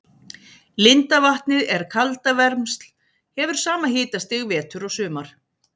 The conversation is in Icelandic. Lindavatnið er kaldavermsl, hefur sama hitastig vetur og sumar.